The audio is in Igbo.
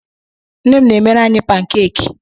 Nne m na-emere anyị pankeki